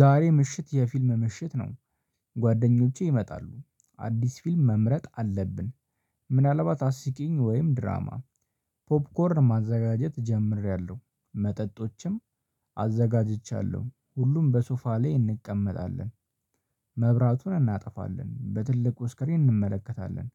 ዛሬ ምሽት የፊልም ምሽት ነው። ጓደኞቼ ይመጣሉ። አዲስ ፊልም መምረጥ አለብን ምናልባት አስቂኝ ወይም ድራማ ፖፕኮርን ማዘጋጀት ጀምሬያለሁ መጠጦችም አዘጋጅቻለሁ ሁሉም በሱፋ ላይ እንቀመጣለን መብራቱን እናጠፋለን በትልቁ ስክሪን እንመለከታለን።